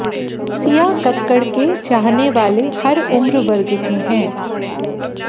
सिया कक्कड़ के चाहने वाले हर उम्रवर्ग के हैं